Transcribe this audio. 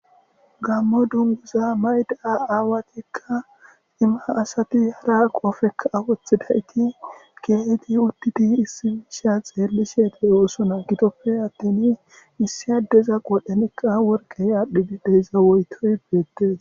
gammo dunguza mayda aawatikka cima asati hara qofekka awothidayti geehiti uddidi issimisha xeellisede oosona gitoppe attin issi addeza qodhanekka worqey aadhdhide deyza woytoy beettees